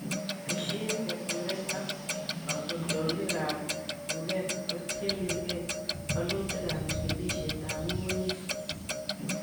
Tesyin keturek ak katoltolikab tuket kotienegi wolutikab chikilisietab ng'ung'unyek.